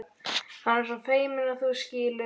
Hann er svo feiminn, þú skilur.